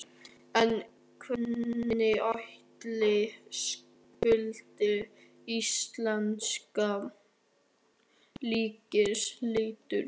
En hvernig ætli skuldir íslenska ríkisins líti út?